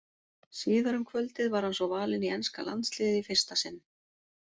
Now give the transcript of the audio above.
Síðar um kvöldið var hann svo valinn í enska landsliðið í fyrsta sinn.